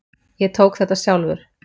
Ég tók þetta sjálfur.